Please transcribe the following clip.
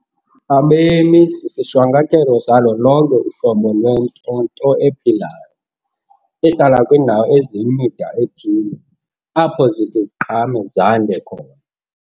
Abemi sisihwankathelo salo lonke uhlobo lwento nto ephilayo, ehlala kwindawo eziyimida ethile, apho zithi ziqhame zande khona.